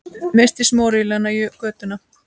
Missti smurolíuna í götuna